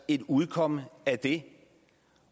et udkomme af det